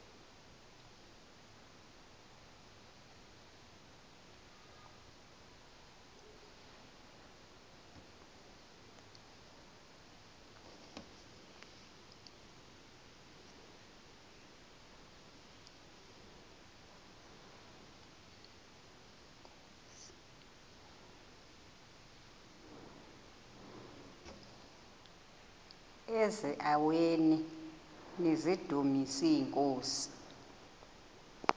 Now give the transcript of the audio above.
eziaweni nizidumis iinkosi